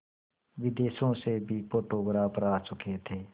विदेशों से भी फोटोग्राफर आ चुके थे